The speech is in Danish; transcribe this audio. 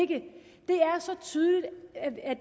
det er så tydeligt at